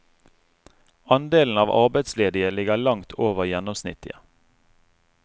Andelen av arbeidsledige ligger langt over gjennomsnittet.